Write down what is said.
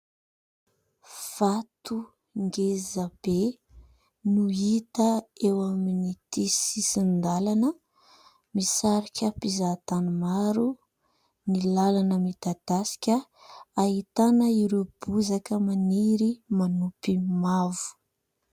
Vato ngezabe no hita eo amin'ity sisin-dalana. Misarika mpizahatany maro ny lalana midadasika. Ahitana ireo bozaka maniry manopy mavo.